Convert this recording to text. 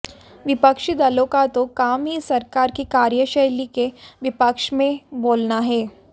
विपक्षी दलों का तो काम ही सरकार की कार्यशैली के विपक्ष में बोलना है